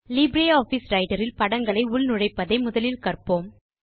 LibreOffice Writer இல் படங்களை உள்நுழைப்பதை முதலில் கற்போம்